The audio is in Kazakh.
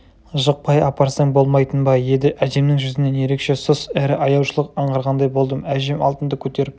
жықпай апарсаң болмайтын ба еді әжемнің жүзінен ерекше сұс әрі аяушылық анғарғандай болдым әжем алтынды көтеріп